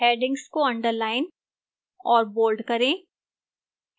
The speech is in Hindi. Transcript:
headings को underline और bold करें